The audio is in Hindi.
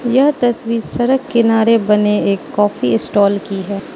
यह तस्वीर सड़क किनारे बने एक कॉफी स्टॉल की है।